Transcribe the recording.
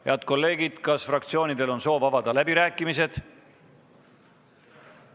Head kolleegid, kas fraktsioonidel on soov avada läbirääkimised?